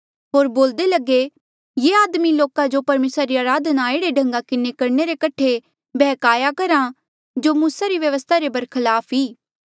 होर बोल्दे लगे ये आदमी लोका जो परमेसरा री अराधना एह्ड़े ढंगा किन्हें करणे रे कठे बैहकाया करहा जो मूसा री व्यवस्था रे बरखलाफ ई